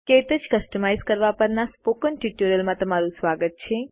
ક્ટચ કસ્તમાઈઝ કરવા પરના સ્પોકન ટ્યુટોરીયલમાં તમારું સ્વાગત છે